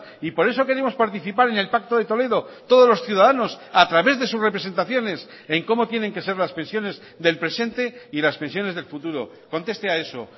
y por eso queremos participar en el pacto de toledo todos los ciudadanos a través de sus representaciones en cómo tienen que ser las pensiones del presente y las pensiones del futuro conteste a eso